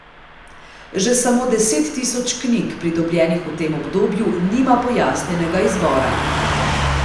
Že samo deset tisoč knjig, pridobljenih v tem obdobju, nima pojasnjenega izvora.